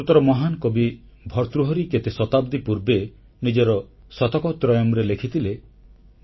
ସଂସ୍କୃତର ମହାନ୍ କବି ଭର୍ତ୍ତୃହରି କେତେ ଶତାବ୍ଦୀ ପୂର୍ବେ ନିଜ ଶତକତ୍ରୟମ୍ରେ ଲେଖିଥିଲେ